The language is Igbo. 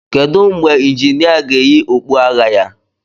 Kedu mgbe injinia ga-eyi okpu agha ya?